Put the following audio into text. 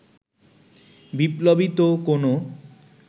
বিপ্লবী তো কোনো